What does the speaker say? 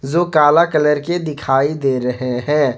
जो काला कलर के दिखाई दे रहे हैं।